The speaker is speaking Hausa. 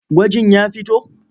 Gwajin ya fito?